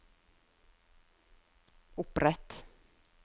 opprett